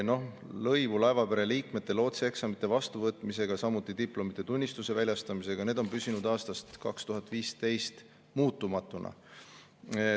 Lõivud laevapere liikmete lootsieksamite vastuvõtmise, samuti diplomite ja tunnistuste väljastamise eest – need on püsinud aastast 2015 muutumatuna.